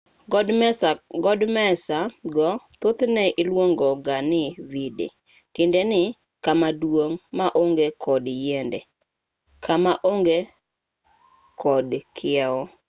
godmesa go thothne iluongo ga ni vidde tiende ni kama duong' ma onge kod yiende kama onge kod kiew